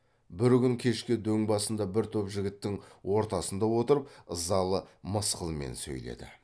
бір күн кешке дөң басында бір топ жігіттің ортасында отырып ызалы мысқылмен сөйледі